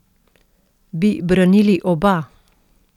Bi branili oba?